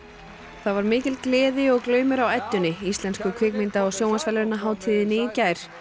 það var mikil gleði og glaumur á Eddunni Íslensku kvikmynda og sjónvarpsverðlaunahátíðinni í gær